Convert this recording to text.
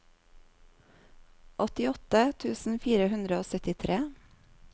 åttiåtte tusen fire hundre og syttitre